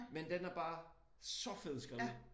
Men den er bare så fed skrevet